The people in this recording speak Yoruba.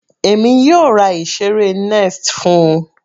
Èmi yóò ra ìseré nest fún-un.